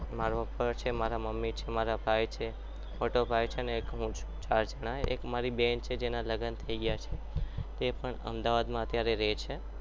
મારા papa છે મારી mummy છે મારો ભાઈ છે મોટો ભાઈ છે અને હું છું અને એક મારી એક બેન છે જેના લગ્ન થઈ ગયા છે તે હાલ અમદાવાદમાં રહે છે